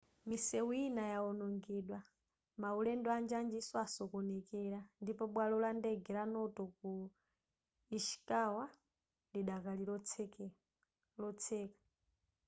misewu ina yawonongedwa maulendo anjanjinso asokonekera ndipo bwalo la ndege la noto ku ishikawa ylikadali lotseka